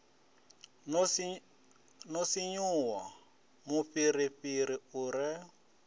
no sinvuwa mufhirifhiri u re